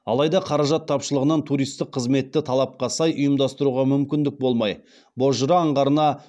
алайда қаражат тапшылығынан туристік қызметті талапқа сай ұйымдастыруға мүмкіндік болмай бозжыра аңғарына